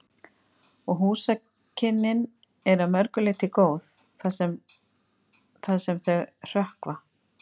Og húsakynnin eru að mörgu leyti góð, það sem þau hrökkva.